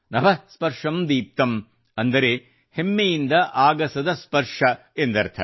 ನಭಃ ಸ್ಪರ್ಷಂ ದೀಪ್ತಂ ಅಂದರೆ ಹೆಮ್ಮೆಯಿಂದ ಆಗಸದ ಸ್ಪರ್ಶ ಎಂದರ್ಥ